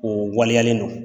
O waleyalen don.